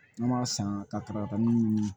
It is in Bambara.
An b'a san kataraka ninnu